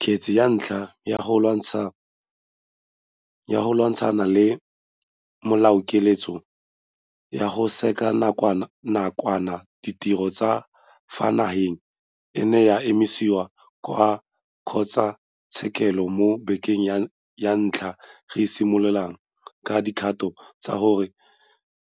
Kgetse ya ntlha ya go lwantshana le melaokiletso ya go sekega nakwana ditiro tsa ka fa nageng e ne ya isiwa kwa kgotlatshekelo mo bekeng ya ntlha re simolotse ka dikgato tsa go